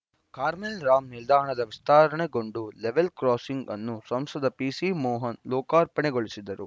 ಕಾರ್ಮೆಲ್‌ರಾಮ್‌ ನಿಲ್ದಾಣದ ವಿಸ್ತರಣೆಗೊಂಡ level crossing ಅನ್ನು ಸಂಸದ ಪಿಸಿಮೋಹನ್‌ ಲೋಕಾರ್ಪಣೆಗೊಳಿಸಿದರು